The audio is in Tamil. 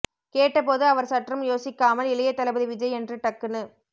கேட்ட போது அவர் சற்றும் யோசிக்கமால் இளைய தளபதி விஜய் என்று டக்குனு